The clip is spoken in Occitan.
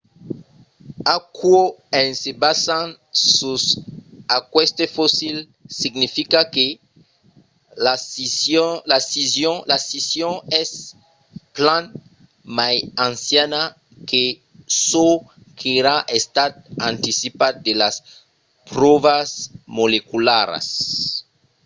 aquò en se basant sus aqueste fossil significa que la scission es plan mai anciana que çò qu'èra estat anticipat de las pròvas molecularas